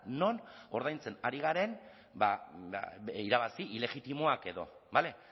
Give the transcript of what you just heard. non ordaintzen ari garen ba irabazi ilegitimoak edo bale